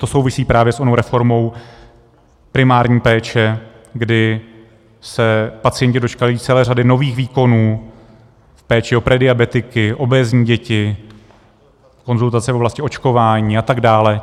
To souvisí právě s onou reformou primární péče, kdy se pacienti dočkají celé řady nových výkonů v péči o prediabetiky, obézní děti, konzultace v oblasti očkování, a tak dále.